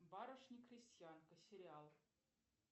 барышня крестьянка сериал